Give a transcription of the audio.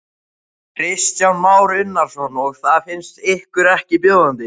Kristján Már Unnarsson: Og það finnst ykkur ekki bjóðandi?